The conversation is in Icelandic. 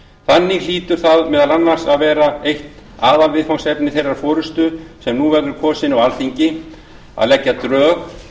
þannig hlýtur það meðal annars að vera eitt aðalviðfangsefni þeirrar forustu sem nú verður kosin á alþingi að leggja drög